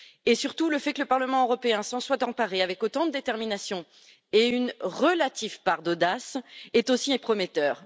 Mais surtout, le fait que le Parlement européen s'en soit emparée avec autant de détermination et une relative part d'audace est aussi prometteur.